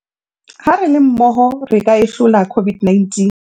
Ha re le mmoho re ka e hlola COVID-19